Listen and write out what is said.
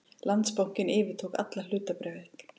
Landsbankinn yfirtók alla hlutabréfaeign